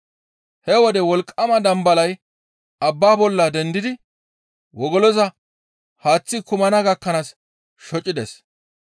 He wode wolqqama dambalay abbaa bolla dendidi wogoloza haaththi kumana gakkanaas shocechchides.